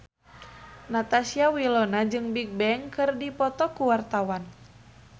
Natasha Wilona jeung Bigbang keur dipoto ku wartawan